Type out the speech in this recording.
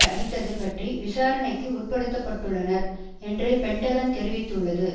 அடித்தது பற்றி விசாரணைக்கு உட்படுத்த பட்டுள்ளனர் என்று பென்டகன் தெரிவித்துள்ளது